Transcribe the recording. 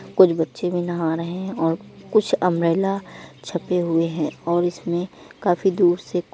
कुछ बच्चे भी नहा रहे हैं और कुछ अम्ब्रेला छपे हुए हैं और इसमें काफी दूर से --